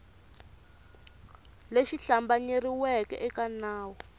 lexi hlambanyeriweke eka va nawu